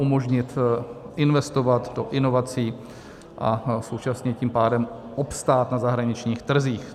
umožnit investovat do inovací a současně tím pádem obstát na zahraničních trzích.